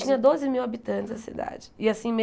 Tinha doze mil habitantes a cidade. E assim